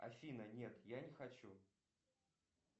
афина нет я не хочу